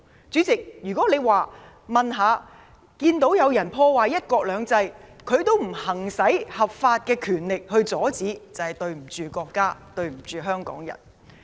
主席，若看到有人破壞"一國兩制"，政府也不合法行使權力阻止，就對不起國家，對不起香港人。